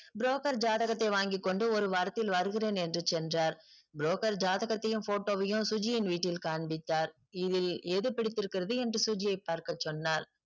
broker ஜாதகத்தை வாங்கிக்கொண்டு ஒரு வாரத்தில் வருகிறேன் என்று சென்றார் broker ஜாதகத்தையும் photo வையும் சுஜியின் வீட்டில் காண்பித்தார் இதில் எது பிடித்திருக்கிறது என்று சுஜியை பார்க்கச்சொன்னார்